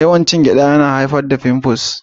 Yawan cin gyada yana haifar da fimfus.